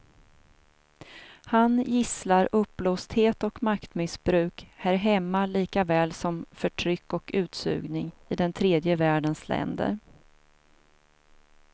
Han gisslar uppblåsthet och maktmissbruk här hemma likaväl som förtryck och utsugning i den tredje världens länder.